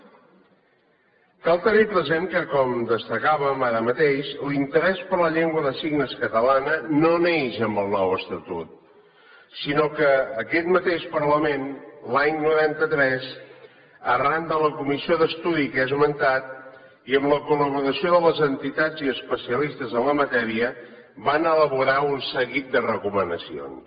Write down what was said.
cal tenir present que com destacàvem ara mateix l’interès per la llengua de signes catalana no neix amb el nou estatut sinó que aquest mateix parlament l’any noranta tres arran de la comissió d’estudi que he esmentat i amb la col·laboració de les entitats i especialistes en la matèria va elaborar un seguit de recomanacions